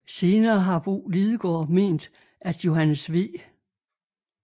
Senere har Bo Lidegaard ment at Johannes V